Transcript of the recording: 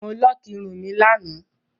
Mo lọọkí irun mi lánàá